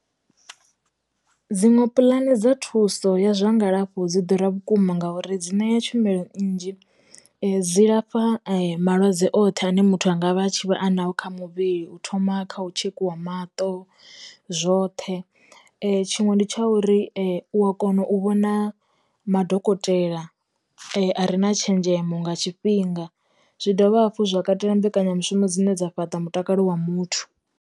Dziṅwe pulani dza thuso ya zwa ngalafho dzi ḓura vhukuma ngauri dzine ya tshumelo nnzhi, dzi lafha malwadze oṱhe ane muthu anga vha tshi vha anaḽo kha muvhili u thoma kha u tshekhiwa maṱo, zwoṱhe, tshiṅwe ndi tsha uri u wa kona u vhona madokotela a re na tshenzhemo nga tshifhinga, zwi dovha hafhu zwa katela mbekanyamushumo dzine dza fhaṱa mutakalo wa muthu.